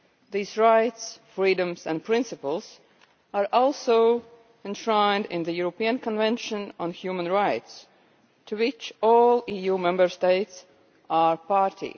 These rights, freedoms and principles are also enshrined in the European Convention on Human Rights to which all EU Member States are party.